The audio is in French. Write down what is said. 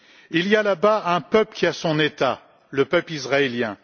Il y a là bas un peuple qui a son État le peuple israélien.